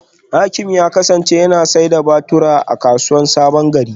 Hakim ya kasance yana sayar da batura a kasuwar sabongeri.